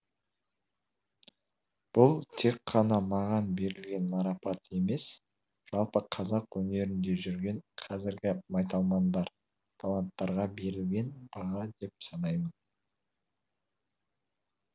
бұл тек қана маған берілген марапат емес жалпы қазақ өнерінде жүрген қазіргі майталмандар таланттарға берілген баға деп санаймын